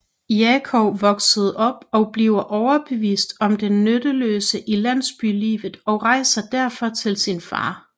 Jakov vokser op og bliver overbevist om det nytteløse i landsbylivet og rejser derfor til sin far